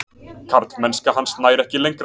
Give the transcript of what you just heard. Karlmennska hans nær ekki lengra.